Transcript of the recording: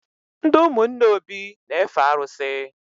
Ndị ụmụnna Obi n efe arụsị